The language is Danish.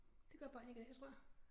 Det gør børn ikke i dag tror jeg